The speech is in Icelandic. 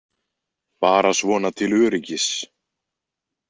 Bara svona til öryggis.